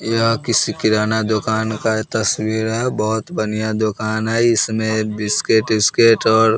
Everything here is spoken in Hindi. यह किसी किराना दुकान का तस्वीर है बहुत बढ़िया दुकान है इसमें बिस्किट इस्किट और --